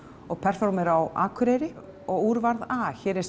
og performera á Akureyri og úr varð a hér er